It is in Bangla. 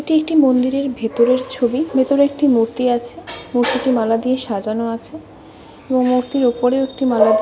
এটি একটি মন্দিরের ভিতরের ছবি। ভেতরে একটি মূর্তি আছে। মূর্তিটি মালা দিয়ে সাজানো আছে এবং মূর্তির অপরেও একটি মালা দিয়ে --